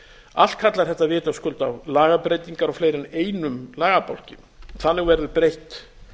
allt kallar þetta vitaskuld á lagabreytingar á fleiri en einum lagabálki þannig verður breytt